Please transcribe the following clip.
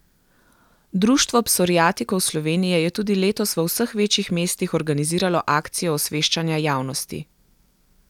Društvo psoriatikov Slovenije je tudi letos v vseh večjih mestih organiziralo akcijo osveščanja javnosti.